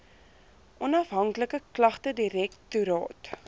onafhanklike klagtedirek toraat